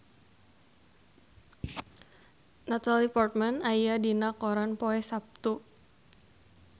Natalie Portman aya dina koran poe Saptu